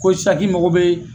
Ko sisan k'i mago bɛ